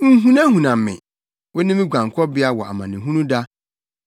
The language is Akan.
Nhunahuna me; wo ne me guankɔbea wɔ amanehunu da.